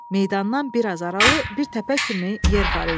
Meydandan bir az aralı bir təpə kimi yer var idi.